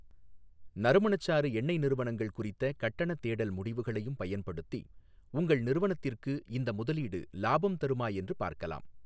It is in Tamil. நறுமணச்சாறு எண்ணெய் நிறுவனங்கள் குறித்த கட்டணத் தேடல் முடிவுகளையும் பயன்படுத்தி உங்கள் நிறுவனத்திற்கு இந்த முதலீடு லாபம் தருமா என்று பார்க்கலாம்.